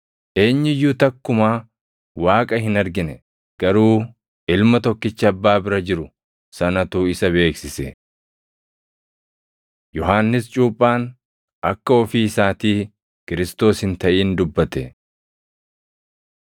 Eenyu iyyuu takkumaa Waaqa hin argine; garuu Ilma Tokkicha Abbaa bira jiru sanatu isa beeksise. Yohannis Cuuphaan Akka Ofii Isaatii Kiristoos Hin taʼin Dubbate